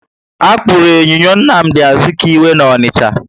Akpuru enyinyo Nnamdi Azikiwe na Onicha